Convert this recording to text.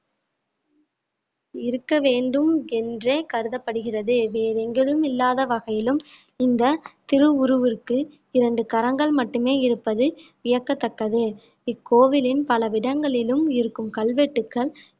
இருக்க வேண்டும் என்றே கருதப்படுகிறது வேறு எங்கிலும் இல்லாத வகையிலும் இந்த திருஉருவிற்கு இரண்டு கரங்கள் மட்டுமே இருப்பது வியக்கத்தக்கது இக்கோ கோவிலின் பல இடங்களிலும் இருக்கும் கல்வெட்டுகள்